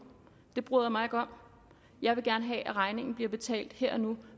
det bryder jeg mig ikke om jeg vil gerne have at regningen bliver betalt her og nu